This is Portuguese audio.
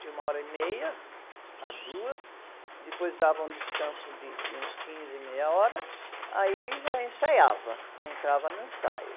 de uma hora e meia a duas, depois dava um descanso de, de uns quinze, meia hora, aí já ensaiava, entrava no ensaio.